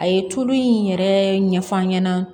A ye tulu in yɛrɛ ɲɛf'an ɲɛna